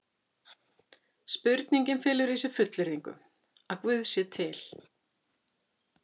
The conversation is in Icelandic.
Spurningin felur í sér fullyrðingu: Að guð sé til.